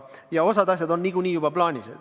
Osa asju on juba niikuinii plaanis.